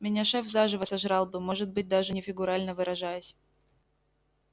меня шеф заживо сожрал бы может быть даже не фигурально выражаясь